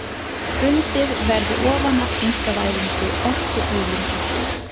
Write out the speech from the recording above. Undið verði ofan af einkavæðingu orkuauðlinda